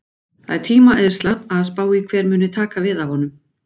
Það er tímaeyðsla að spá í hver muni taka við af honum.